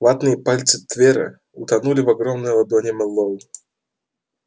ватные пальцы твера утонули в огромной ладони мэллоу